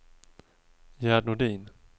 Gerd Nordin